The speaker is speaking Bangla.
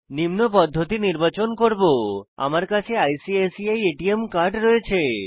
নিম্ন পদ্ধতি নির্বাচন করব আমার কাছে আইসিআইসিআই এটিএম কার্ড রয়েছে